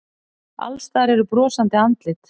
Alls staðar eru brosandi andlit.